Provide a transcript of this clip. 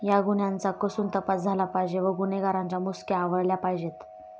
या गुन्हयांचा कसून तपास झाला पाहिजे व गुन्हेगारांच्या मुसक्या आवळल्या पाहिजेत.